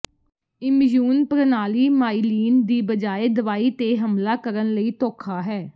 immune ਪ੍ਰਣਾਲੀ myelin ਦੀ ਬਜਾਏ ਦਵਾਈ ਤੇ ਹਮਲਾ ਕਰਨ ਲਈ ਧੋਖਾ ਹੈ